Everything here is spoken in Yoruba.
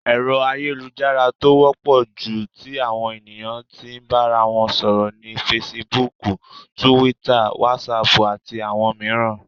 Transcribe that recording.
Ẹ̀rọ ayélujára tó wọ́pọ̀ jù tí àwọn ènìyàn tí n bára wọn sọ̀rọ̀ ni Fesibúùkù, Túwítà, Wásaàpù, àti àwọn mìíràn.